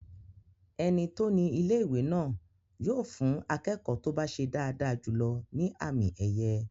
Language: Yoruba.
Ẹni tó ní ilé-ìwé náà yóò fún akẹ́kọ̀ọ́ tó bá ṣe dáadáa jùlọ ní àmì ẹ̀yẹ